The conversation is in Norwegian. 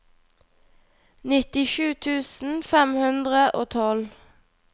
nittisju tusen fem hundre og tolv